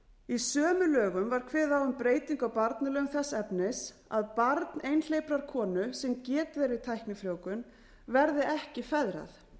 í sömu lögum var kveðið á um breytingu á barnalögum þess efnis að barn einhleyprar konu sem getið er við tæknifrjóvgun verði ekki feðrað